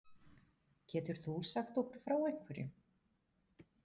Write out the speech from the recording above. Getur þú sagt okkur frá einhverjum?